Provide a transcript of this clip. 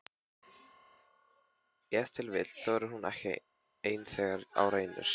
Ef til vill þorir hún ekki ein þegar á reynir?